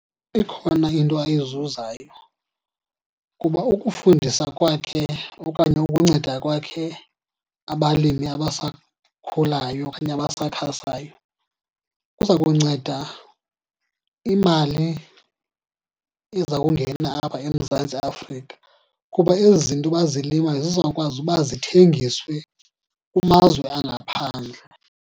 Ikhona into ayizuzayo kuba ukufundisa kwakhe okanye ukunceda kwakhe abalimi abasakhulayo okanye abasakhasayo kuza kunceda imali eza kungena apha eMzantsi Afrika. Kuba ezi zinto bazilimayo zizawukwazi uba zithengiswe kumazwe angaphandle.